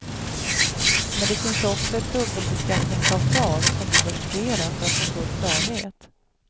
Men det finns också ett dubbelbeskattningsavtal som du bör studera för att få full klarhet.